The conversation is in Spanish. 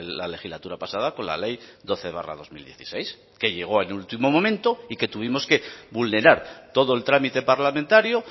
la legislatura pasada con la ley doce barra dos mil dieciséis que llegó en último momento y que tuvimos que vulnerar todo el trámite parlamentario